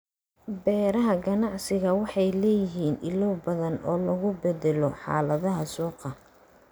Beeraha ganacsiga waxay leeyihiin ilo badan oo lagu beddelo xaaladaha suuqa.